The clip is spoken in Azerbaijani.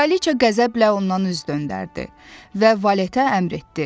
Kraliça qəzəblə ondan üz döndərdi və valetə əmr etdi: